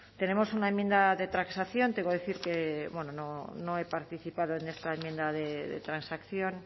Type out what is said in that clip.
tenemos una enmienda de transacción tengo que decir que no he participado en esta enmienda de transacción